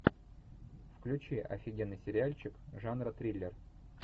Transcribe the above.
включи офигенный сериальчик жанра триллер